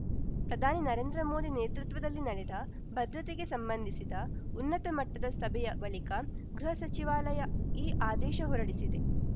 ಪ್ರಧಾನಿ ನರೇಂದ್ರ ಮೋದಿ ನೇತೃತ್ವದಲ್ಲಿ ನಡೆದ ಭದ್ರತೆಗೆ ಸಂಬಂಧಿಸಿದ ಉನ್ನತ ಮಟ್ಟದ ಸಭೆಯ ಬಳಿಕ ಗೃಹ ಸಚಿವಾಲಯ ಈ ಆದೇಶ ಹೊರಡಿಸಿದೆ